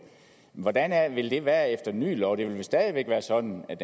hvordan vil det være efter den nye lov det vil være en stadig væk være sådan at